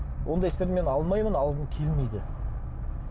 ондай істерді мен алмаймын алғым келмейді